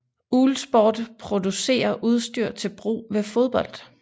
Uhlsport producerer udstyr til brug ved fodbold